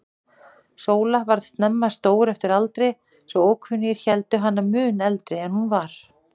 Sóla varð snemma stór eftir aldri, svo ókunnir héldu hana mun eldri en hún var.